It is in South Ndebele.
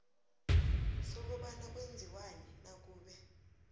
sokobana kwenziwani nakube